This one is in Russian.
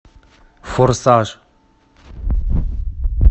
форсаж